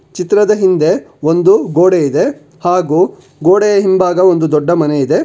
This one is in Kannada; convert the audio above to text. ಚಿತ್ರದ ಹಿಂದೆ ಒಂದು ಗೋಡೆ ಇದೆ ಹಾಗೂ ಗೋಡೆಯ ಹಿಂಭಾಗ ಒಂದು ದೊಡ್ಡ ಮನೆ ಇದೆ.